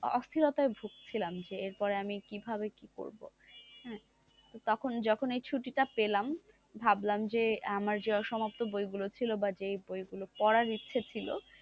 অস্থিরতায় ভুগছিলাম যে এরপরে আমি কিভাবে কি করব তখন যখনই ছুটি টা পেলাম ভাবলাম যে আমার যে সমস্ত বইগুলো ছিল বা জে বইগুলো পড়ার ইচ্ছে ছিল,